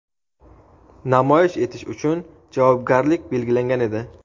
namoyish etish uchun javobgarlik belgilangan edi).